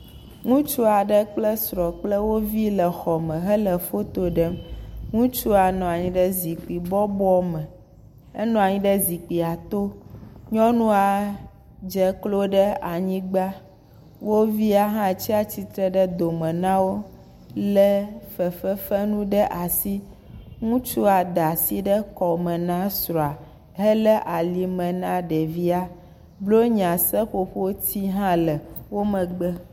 Ŋutsua ɖe kple srɔ̃a kple wo vi le xɔme hele foto ɖem. Ŋutsua nɔa nyi ɖe zikpi bɔbɔ me. Enɔa nyi ɖe zipkia to. Nyɔnua dze klo ɖe anyigba. Wo via hã tsia tsitre ɖe dome na wo lé fefenu ɖa si. Ŋutsua da si ɖe kɔme na esrɔ̃a helé alime na ɖevia. Blonyaseƒoƒoti hã le wo megbe